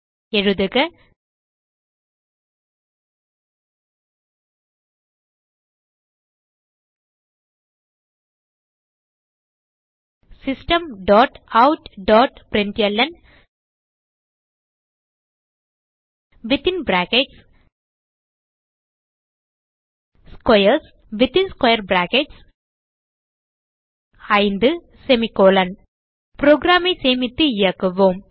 எழுதுக Systemoutprintlnஸ்க்வேர்ஸ் 5 program ஐ சேமித்து இயக்குவோம்